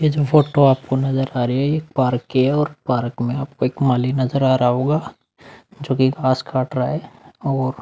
ये जो फोटो आपको नज़र आ रही हैं। ये पार्क की हैं और पार्क में आपको एक माली नज़र आ रहा होगा जोकि घास काट रहा हैं और --